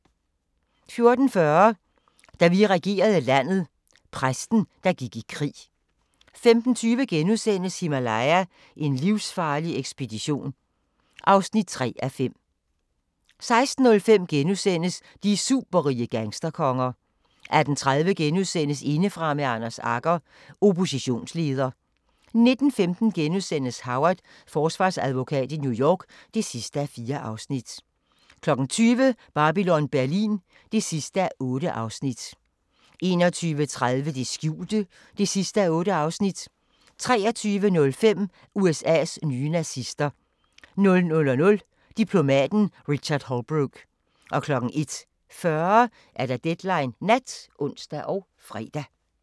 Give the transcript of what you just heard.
14:40: Da vi regerede landet – Præsten, der gik i krig 15:20: Himalaya: En livsfarlig ekspedition (3:5)* 16:05: De superrige gangsterkonger * 18:30: Indefra med Anders Agger - Oppositionsleder * 19:15: Howard – Forsvarsadvokat i New York (4:4)* 20:00: Babylon Berlin (8:8) 21:30: Det skjulte (8:8) 23:05: USAs nye nazister 00:00: Diplomaten Richard Holbrooke 01:40: Deadline Nat (ons og fre)